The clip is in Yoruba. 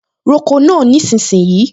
Roko náà nísinsìnyí!